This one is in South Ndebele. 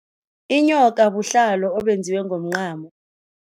Inyoka buhlalo obenziwe ngomncamo.